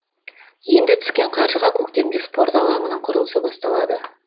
енді түскен қаржыға көктемде спорт алаңының құрылысы басталады